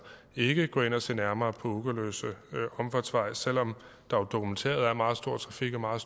ikke vil gå ind og se nærmere på ugerløse omfartsvej selv om der jo dokumenteret er meget stor trafik og meget